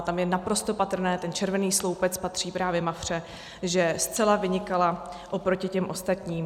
A tam je naprosto patrné, ten červený sloupec patří právě Mafře, že zcela vynikala oproti těm ostatním.